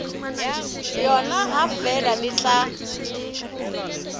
yona ha feela le tla